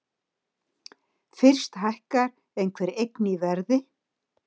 Fyrst hækkar einhver eign í verði.